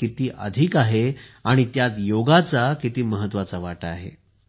किती जास्त महत्व आहे आणि त्यात योगाचा किती महत्वाचा वाटा आहे